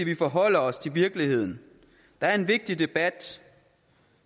vi forholder os til virkeligheden der er en vigtig debat